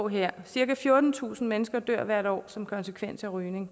her cirka fjortentusind mennesker dør hvert år som konsekvens af rygning